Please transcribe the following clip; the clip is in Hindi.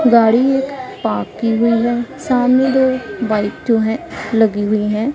गाडी एक पार्क की हुई है सामने दो बाइक जो हैं लगी हुई हैं।